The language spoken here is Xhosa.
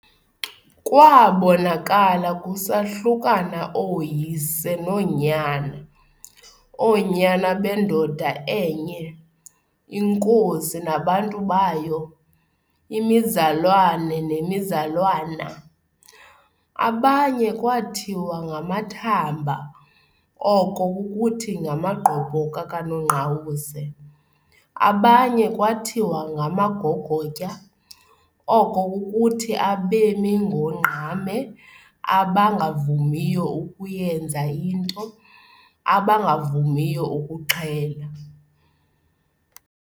Kwaabonakala kusahlukana ooyise noonyana, oonyana bendoda enye, inkosi nabantu bayo, imizalwana nemizalwana. Abanye kwathiwa ngama"Thamba", oko kukuthi ngamagqobhoka kaNongqawuse, abanye kwathiwa ngama"Gogotya", oko kukuthi abemi ngongqame, abangavumiyo ukuyenza into, abangavumiyo ukuxhela.